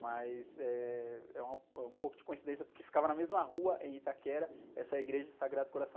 Mas, eh, é uma, é um pouco de coincidência, porque ficava na mesma rua, em Itaquera, essa igreja do Sagrado Coração.